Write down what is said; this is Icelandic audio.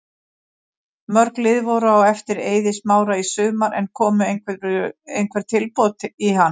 Mörg lið voru á eftir Eiði Smára í sumar en komu einhver tilboð í hann?